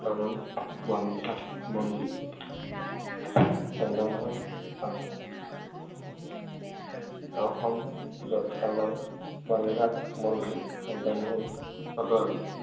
বৰ্তমান বন বিভাগ মন্ত্ৰী, চন্দ্ৰমোহন পাটোৱাৰী। অসম বৰ্তমান বন বিভাগ মন্ত্ৰী, চন্দ্ৰমোহন পাটোৱাৰী।